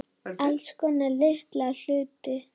Alls konar litla hluti.